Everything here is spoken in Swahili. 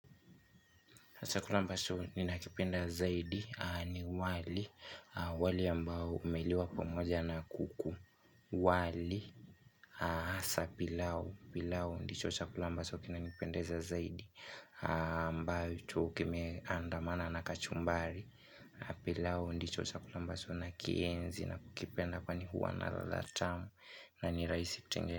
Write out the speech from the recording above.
Chakula ambacho ninakipenda zaidi ni wali, wali ambao umeliwa pamoja na kuku, wali, asa pilau, pilau ndicho chakula ambacho kinanipendeza zaidi ambacho kimeandamana na kachumbari, pilau ndicho chakula ambacho nakienzi na kukipenda kwani huwa na ladha tamu na ni rahisi kutengeneza.